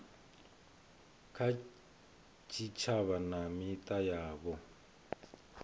kha tshitshavha na mita yavho